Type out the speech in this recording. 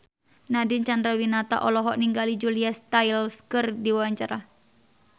Nadine Chandrawinata olohok ningali Julia Stiles keur diwawancara